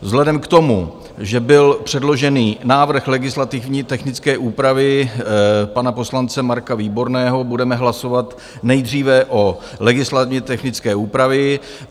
Vzhledem k tomu, že byl předložen návrh legislativně technické úpravy pana poslance Marka Výborného, budeme hlasovat nejdříve o legislativně technické úpravě.